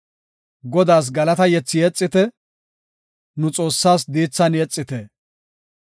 Godaas galata yethi yexite; nu Xoossaas diithan yexite.